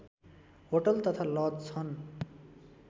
hotel तथा lodge छन्